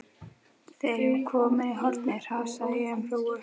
Þegar ég var komin í hornið hrasaði ég um hrúgu.